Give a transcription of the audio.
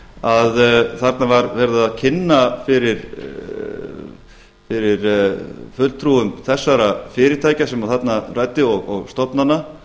að þarna var verið að kynna fyrir fulltrúum þessara fyrirtækja sem þarna um ræddi og stofnana